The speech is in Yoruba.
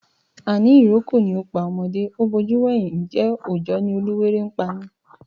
Àní ìrókò ni ó pá ọmọdé, ó bojú wẹ̀yìn, ǹjẹ́ òojọ́ ni oluwéré ń pani?